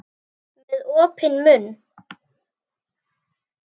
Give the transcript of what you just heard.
Með opinn munn.